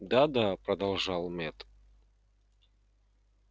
да да продолжал мэтт